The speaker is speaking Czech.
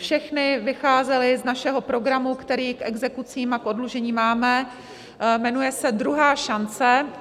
Všechny vycházely z našeho programu, který k exekucím a k oddlužení máme, jmenuje se Druhá šance.